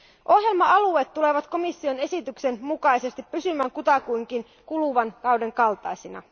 Ohjelma alueet tulevat komission esityksen mukaisesti pysymään kutakuinkin kuluvan kauden kaltaisina.